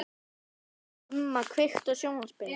Gumma, kveiktu á sjónvarpinu.